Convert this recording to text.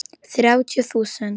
Þrjátíu þúsund!